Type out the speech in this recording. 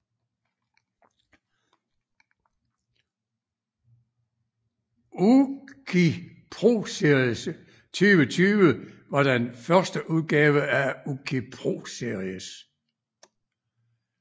UCI ProSeries 2020 var den første udgave af UCI ProSeries